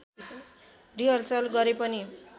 rehearsal गरे पनि